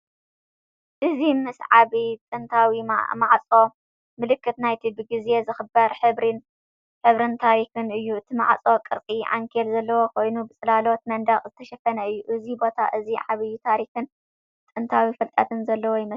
እዚ ምስ ዓቢ ጥንታዊ ማዕጾ፡ ምልክት ናይቲ ብግዜ ዝኽበር ሕብርን ታሪኽን እዩ። እቲ ማዕጾ ቅርጺ ዓንኬል ዘለዎ ኮይኑ፡ ብጽላሎት መንደቕ ዝተሸፈነ እዩ። እዚ ቦታ እዚ ዓቢ ታሪኽን ጥንታዊ ፍልጠትን ዘለዎ ይመስል።